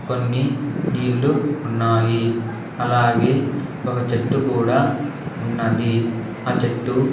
కొన్ని నీళ్ళు ఉన్నాయి అలాగే ఒక చెట్టు కూడా ఉన్నది ఆ చెట్టు--